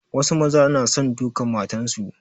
Wasu maza na son dukan matansu.